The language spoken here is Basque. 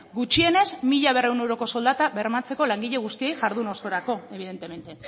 gutxienez mila berrehun euroko soldata bermatzeko langile guztiei jardun osorako evidentemente